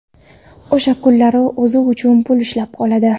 O‘sha kunlari o‘zi uchun pul ishlab oladi.